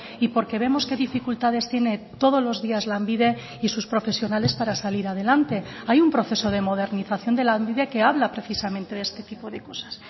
y porque vemos qué dificultades tiene todos los días lanbide y sus profesionales para salir adelante hay un proceso de modernización de lanbide que habla precisamente de este tipo de cosas